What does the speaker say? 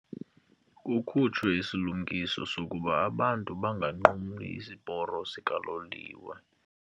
Kukhutshwe isilumkiso sokuba abantu banganqumli isiporo sikaloliwe.